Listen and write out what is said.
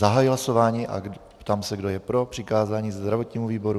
Zahajuji hlasování a ptám se, kdo je pro přikázání zdravotnímu výboru.